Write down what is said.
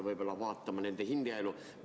Võib-olla peaksime vaatama nende hingeelu?